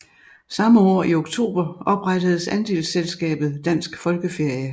Samme år i oktober oprettedes andelsselskabet Dansk Folkeferie